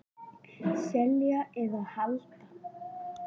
Selja eða halda?